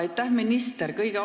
Aitäh, minister!